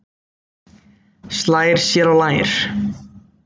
Slær sér á lær.